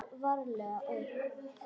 Er allri orðið heitt.